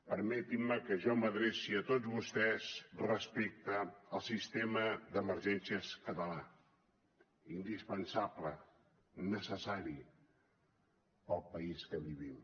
permetin me que jo m’adreci a tots vostès respecte al sistema d’emergències català indispensable necessari per al país que vivim